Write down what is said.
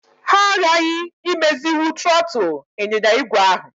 Ha aghaghị imezinwu trọọtụ ịnyịnya igwe ahụ.